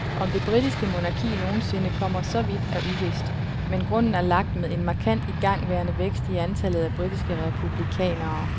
Om det britiske monarki nogen sinde kommer så vidt er uvist, men grunden er lagt med en markant igangværende vækst i antallet af britiske republikanere.